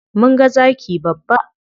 Mun ga zaki babba.